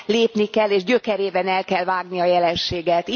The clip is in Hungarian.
lépni kell, és gyökerében el kell vágni a jelenséget.